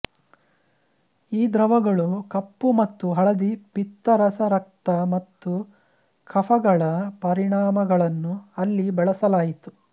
ಈ ದ್ರವಗಳು ಕಪ್ಪುಮತ್ತು ಹಳದಿ ಪಿತ್ತರಸರಕ್ತ ಮತ್ತುಕಫಗಳ ಪರಿಣಾಮಗಳನ್ನು ಇಲ್ಲಿ ಬಳಸಲಾಯಿತು